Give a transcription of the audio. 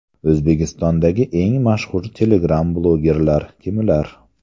O‘zbekistondagi eng mashhur telegram blogerlar kimlar?